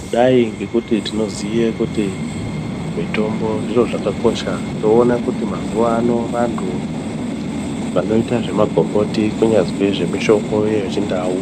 Kudai ngekuti tinoziye kuti mitombo zviro zvakakosha, toona kuti mazuvano vantu vanoite zvemagomboti kunyazwi nemitombo yechindau